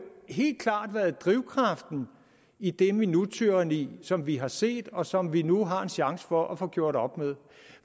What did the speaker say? helt klart været drivkraften i det minuttyranni som vi har set og som vi nu har en chance for at få gjort op med